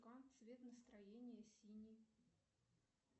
цвет настроения синий